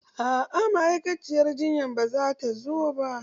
A'a ma'aikaciyar jinyan ba zata zo ba.